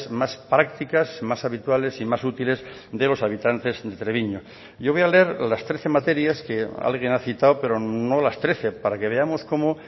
más prácticas más habituales y más útiles de los habitantes de treviño yo voy a leer las trece materias que alguien ha citado pero no las trece para que veamos cómo